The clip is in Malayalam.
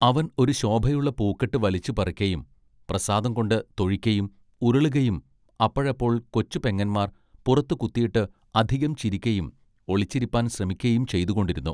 അവൻ ഒരു ശോഭയുള്ള പൂക്കെട്ട് വലിച്ചു പറിക്കയും പ്രസാദം കൊണ്ട് തൊഴിക്കയും ഉരുളുകയും അപ്പഴപ്പോൾ കൊച്ചുപെങ്ങന്മാർ പുറത്ത് കുത്തിയിട്ട് അധികം ചിരിക്കയും ഒളിച്ചിരിപ്പാൻ ശ്രമിക്കയും ചെയ്തുകൊണ്ടിരുന്നു.